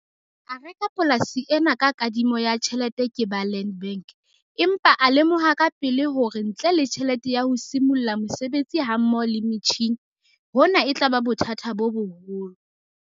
A reka polasi ena ka kadimo ya tjhelete ke ba Land Bank, empa a lemoha kapele hore ntle le tjhelete ya ho simolla mosebetsi hammoho le metjhine, hona e tla ba bothata bo boholo.